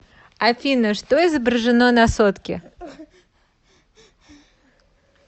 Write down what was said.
афина что изображено на сотке